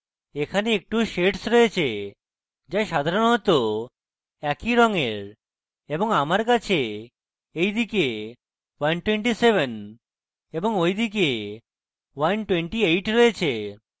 এখানে একটু shades রয়েছে যা সাধারণত একই রঙের এবং আমার কাছে এইদিকে 127 এবং ঐদিকে 128 রয়েছে